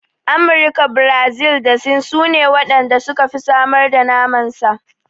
Amurika, Birazil da Sin sune waɗan da suka fi samar da naman sa.